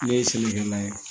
Ne ye sɛnɛkɛla ye